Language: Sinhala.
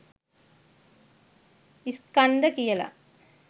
ස්කන්ධ කියල.